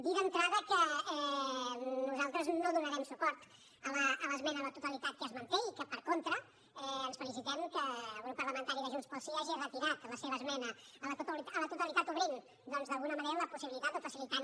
dir d’entrada que nosaltres no donarem suport a l’esmena a la totalitat que es manté i que per contra ens felicitem que el grup parlamentari de junts pel sí hagi retirat la seva esmena a la totalitat obrint doncs d’alguna manera la possibilitat o facilitant